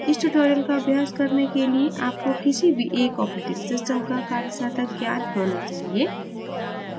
इस tutorial का अभ्यास करने के लिए आपको किसी भी एक operating system का कार्यसाधक ज्ञान working नॉलेज होना चाहिए